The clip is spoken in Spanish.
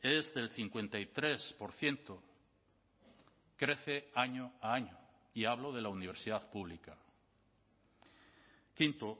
es del cincuenta y tres por ciento crece año a año y hablo de la universidad pública quinto